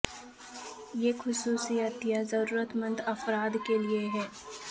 یہ خصوصی عطیہ ضرورت مند افراد کے لیے ہے